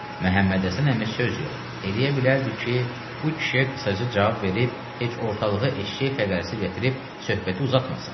Məhəmmədhəsən əmi söz yox, eləyə bilərdi ki, bu kişiyə qısaca cavab verib heç ortalığı eşşək fəqərəsi gətirib söhbəti uzatmasın.